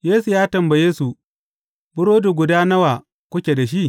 Yesu ya tambaye su, Burodi guda nawa kuke da shi?